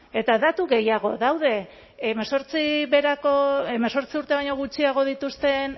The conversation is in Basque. eta datu gehiago daude hemezortzi urte baino gutxiago dituzten